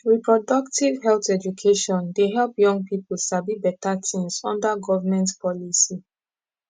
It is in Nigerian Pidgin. reproductive health education dey help young people sabi better things under government policy